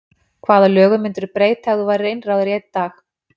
Hvaða lögum myndirðu breyta ef þú værir einráður í einn dag?